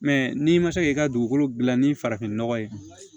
Mɛ n'i ma se k'i ka dugukolo dilan ni farafinnɔgɔ ye